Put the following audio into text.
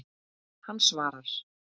Hann svarar.